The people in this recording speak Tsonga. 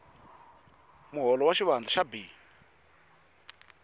muholo wa xivandla xa b